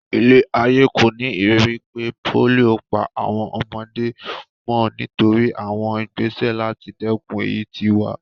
Ilé-ayé kò ní ìrírí pé pólíò ń pa àwọn ọmọdé mọ́ nítorí àwọn ìgbésẹ̀ láti dèkun èyí tí wà.